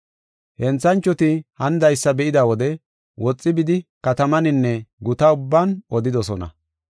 Henthanchoti hanidaysa be7ida wode woxi bidi, katamaninne guta ubban odidosona.